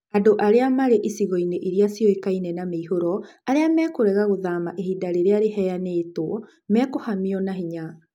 Andũ arĩa marĩ icigo-inĩ iria ciũĩkaime na mĩihũro, arĩa mekũrega gũthama ihinda rĩrĩa rĩheyanĩtwo mekũhamio na hinya.